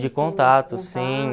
De contato, sim.